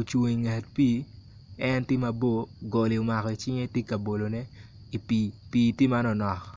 ocung i nget pii en tye mabor goli omako i cinge i pii pii tye manoknok.